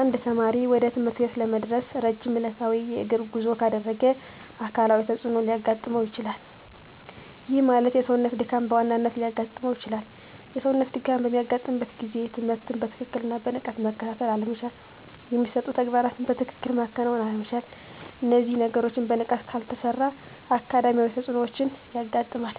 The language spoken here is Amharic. አንድ ተማሪ ወደ ትምህርት ቤት ለመድረስ ረጅም ዕለታዊ የእግር ጉዞ ካደረገ አካላዊ ተፅዕኖ ሊያጋጥመው ይችላል። ይህ ማለት የሰውነት ድካም በዋናነት ሊያጋጥም ይችላል። የሰውነት ድካም በሚያጋጥምበት ጊዜ ትምህርትን በትክክልና በንቃት መከታተል አለመቻል የሚሰጡ ተግባራትን በትክክል ማከናወን አይቻልም። እነዚህ ነገሮች በንቃት ካልተሰሩ አካዳሚያዊ ተፅዕኖዎች ያጋጥማል።